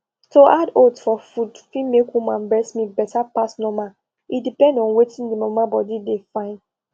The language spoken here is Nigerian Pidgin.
to add oats for food fit make woman breast milk better pass normal e depend on wetin the mama body de fyn